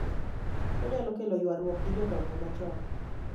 Onyalo kelo ywarruok gi jodongo machon